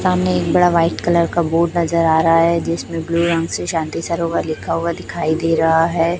सामने एक बड़ा व्हाईट कलर का बोर्ड नजर आ रहा है जिसमें ब्ल्यू रंग से शांति सरोवर लिखा हुआ दिखाई दे रहा है।